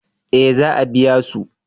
eh za a biya su